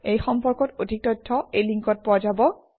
এই সম্পৰ্কত অধিক তথ্য এই লিংকত পোৱা যাব